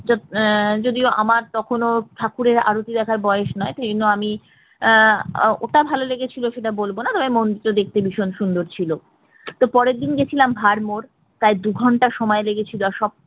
আহ যদিও আমার তখনও ঠাকুরের আরতি দেখার বয়স নয় সেই জন্য আমি আহ ওটা ভালো লেগেছিল সেটা বলবো না তবে মন্দিরটা দেখতে খুব সুন্দর ছিল তো পরের দিন গেছিলাম ভরমোর তাই দু ঘন্টা সময় লেগেছিল আর সব